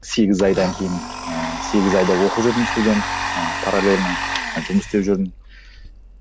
сегіз айдан кейін ыыы сегіз айда оқып жүрдім студент ыыы паралельно ы жұмыс істеп жүрдім